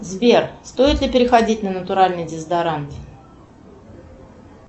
сбер стоит ли переходить на натуральный дезодорант